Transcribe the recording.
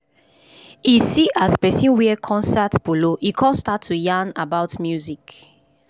e see as person wear concert polo im kon start to dey yarn about music